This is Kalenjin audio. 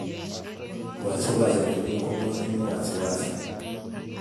wasiwasi nenyu ko matinye wasiwasi